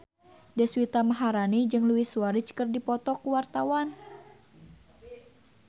Deswita Maharani jeung Luis Suarez keur dipoto ku wartawan